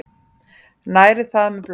Næri það með blóðinu.